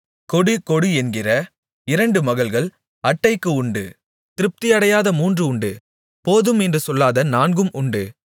கொடு கொடு என்கிற இரண்டு மகள்கள் அட்டைக்கு உண்டு திருப்தி அடையாத மூன்று உண்டு போதும் என்று சொல்லாத நான்கும் உண்டு